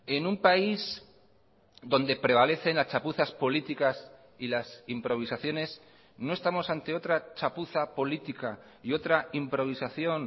en un país donde prevalecen las chapuzas políticas y las improvisaciones no estamos ante otra chapuza política y otra improvisación